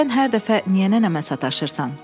Sən hər dəfə niyə nənəmə sataşırsan?